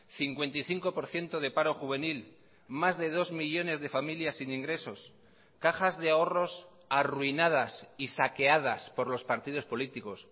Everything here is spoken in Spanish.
cincuenta y cinco por ciento de paro juvenil mas de dos millónes de familias sin ingresos cajas de ahorros arruinadas y saqueadas por los partidos políticos